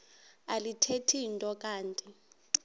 alithethi nto kanti